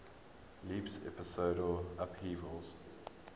leaps episodal upheavals